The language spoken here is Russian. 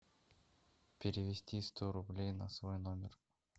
перевести сто рублей на свой номер